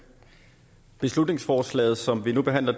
beslutningsforslaget som vi nu behandler